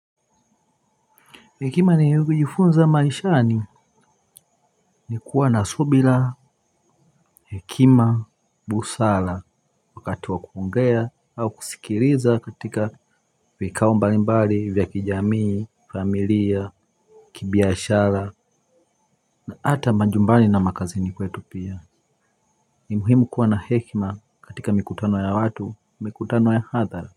Hekima nivyojifunza maishani ni kuwa na subira hekima busara wakati wa kuongea au kusikiliza katika vikao mbalimbali vya kijamii familia kibiashara na hata majumbani na makazini kwetu pia ni muhimu kuwa na hekima katika mikutano ya watu mikutano ya hadhara.